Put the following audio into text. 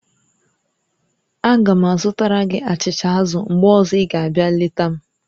Aga m azụtara gị achịcha azụ̀ mgbe ọzọ ị ga-abịa leta m